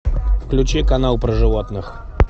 включи канал про животных